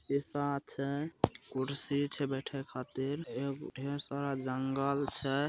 छै कुर्सी छै बैठे खातिर ए गो ढेर सारा जंगल छै।